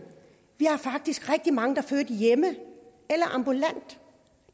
vi har faktisk rigtig mange der har født hjemme eller ambulant